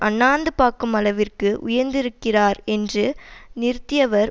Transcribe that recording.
அன்னாந்து பார்க்கும் அளவிற்கு உயர்ந்திருக்கிறார் என்று நிறுத்தியவர்